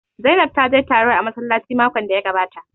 Zainab ta je taro a massalaci makon da ya gabata